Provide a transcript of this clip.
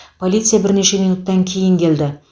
полиция бірнеше минуттан кейін келді